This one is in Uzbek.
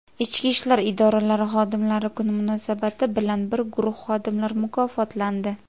Ichki ishlar idoralari xodimlari kuni munosabati bilan bir guruh xodimlar mukofotlandi.